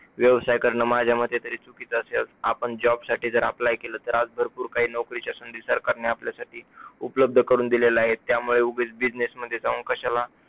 व्यवसाय करणं माझ्या मते तरी चुकीच असे आपण job साठी जर apply केला तर आज भरपूर काही नोकरीच्या संधी सरकारने आपल्यासाठी उपलब्ध करून दिलेल्या आहे. त्यामुळे उगाच business मध्ये जाऊन कशाला